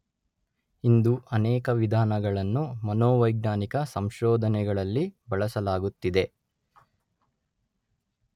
ಇಂದು ಅನೇಕ ವಿಧಾನಗಳನ್ನು ಮನೋವೈಜ್ಞಾನಿಕ ಸಂಶೋಧನೆಗಳಲ್ಲಿ ಬಳಸಲಾಗುತ್ತಿದೆ.